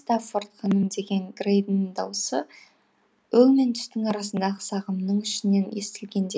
стаффорд ханым деген грэйдің даусы өң мен түстің арасындағы сағымның ішінен естілгендей